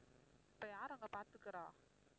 இப்போ யார் அங்க பாத்துக்குறா?